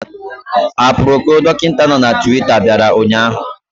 Aproko Dọkịta nọ na Twita bịara ụnyaahụ